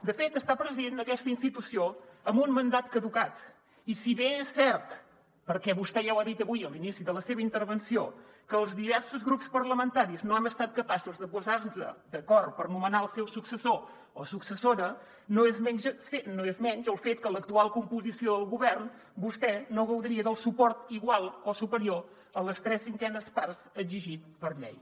de fet està presidint aquesta institució amb un mandat caducat i si bé és cert perquè vostè ja ho ha dit avui a l’inici de la seva intervenció que els diversos grups parlamentaris no hem estat capaços de posar nos d’acord per nomenar el seu successor o successora no ho és menys el fet que amb l’actual composició del govern vostè no gaudiria del suport igual o superior a les tres cinquenes parts exigit per llei